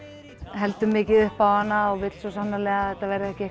heldur mikið upp á hana og vill svo sannarlega að þetta verði ekki